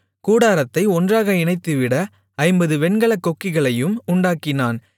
கூடாரத்தை ஒன்றாக இணைத்துவிட ஐம்பது வெண்கலக் கொக்கிகளையும் உண்டாக்கினான்